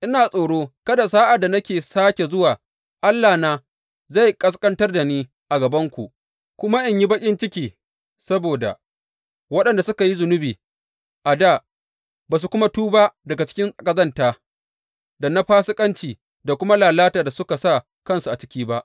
Ina tsoro kada sa’ad da na sāke zuwa, Allahna zai ƙasƙantar da ni a gabanku, kuma in yi baƙin ciki saboda waɗanda suka yi zunubi a dā, ba su kuma tuba daga aikin ƙazanta, da na fasikanci, da kuma lalata da suka sa kansu a ciki ba.